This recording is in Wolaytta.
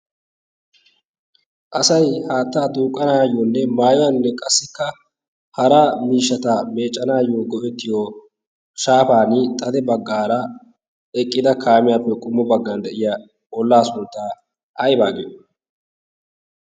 asay haattaa duuqqanaayyoonne maayuwaaninne qassikka hara miishata meeccanaayyo go'ettiyo shaafan xade baggaara eqqida kaamiyaappe qummu baggan de'iya ollaa sunttaa aibaagiyo?